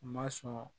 U ma sɔn